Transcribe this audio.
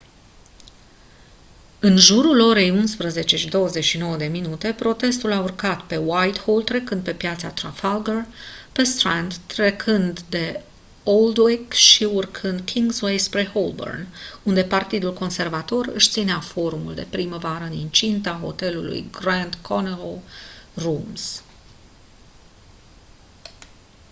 în jurul orei 11:29 protestul a urcat pe whitehall trecând de piața trafalgar pe strand trecând de aldwych și urcând pe kingsway înspre holborn unde partidul conservator își ținea forumul de primăvară în incinta hotelului grand connaught rooms